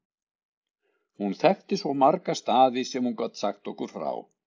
Hún þekkti svo marga staði sem hún gat sagt okkur frá.